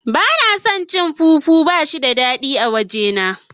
Bana son cin fufu bashi da dadi a waje na.